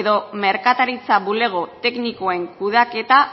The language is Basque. edo merkataritza bulego teknikoen kudeaketa